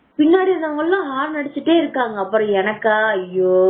பின்னாடி வந்தவங்க எல்லாம் ஹாரன் அடிச்சுக்கிட்டே இருக்காங்க ஐயோ எனக்கா